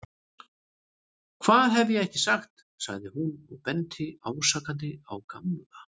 Hvað hef ég ekki sagt sagði hún og benti ásakandi á Gamla.